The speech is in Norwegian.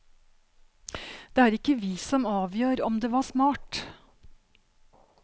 Det er ikke vi som avgjør om det var smart.